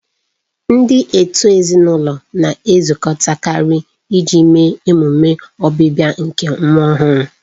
Ndị òtù ezinụlọ na-ezukọtakarị iji mee ememe ọbịbịa nke nwa ọhụrụ.